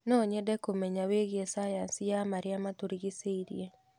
No nyende kũmenya wĩgiĩ cayanci ya marĩa matũrigicĩirie.